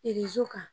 kan